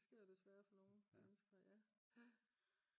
det sker jo desværre for nogle mennesker